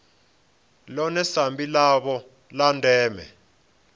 ḽone sambi ḽavho ḽa ndeme